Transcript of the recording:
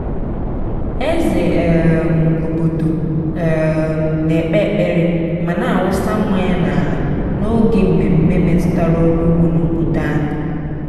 eze um obodo um na-ekpe ekpere ma na-awụsa mmanya n'ala n'oge mmemme metụtara ọrụ ugbo n'obodo anyị.